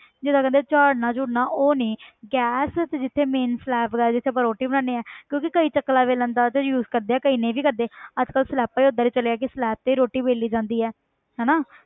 ਜਿੱਦਾਂ ਕਹਿੰਦੇ ਆ ਝਾੜਨਾ ਝੂੜਨਾ ਉਹ ਨੀ ਗੈਸ ਤੇ ਜਿੱਥੇ main slab ਦਾ ਜਿੱਥੇ ਆਪਾਂ ਰੋਟੀ ਬਣਾਉਂਦੇ ਹਾਂ ਕਿਉਂਕਿ ਕਈ ਚਕਲਾ ਵੇਲਣਾ ਦਾ ਉੱਥੇ use ਕਰਦੇ ਆ ਕਈ ਨਹੀਂ ਵੀ ਕਰਦੇ ਅੱਜ ਕੱਲ੍ਹ slabs ਹੀ ਓਦਾਂ ਦੀ ਚੱਲੀਆਂ ਕਿ slab ਤੇ ਹੀ ਰੋਟੀ ਵੇਲੀ ਜਾਂਦੀ ਹੈ ਹਨਾ